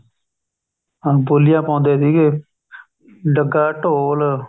ਹਾਂ ਬੋਲੀਆਂ ਪਾਉਂਦੇ ਸੀਗੇ ਡੱਗਾ ਢੋਲ